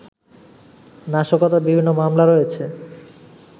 নাশকতার বিভিন্ন মামলা রয়েছে